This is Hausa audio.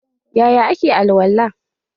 Yaya ake alwala?